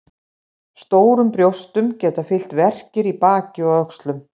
Stórum brjóstum geta fylgt verkir í baki og öxlum.